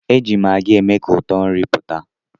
Eji maggi eme ka ụtọ nri pụta.